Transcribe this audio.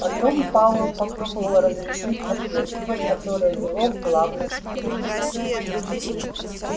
потом пауэлл попробовал разрешить отверстие которое вело в главный штрек